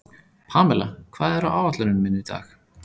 Pamela, hvað er á áætluninni minni í dag?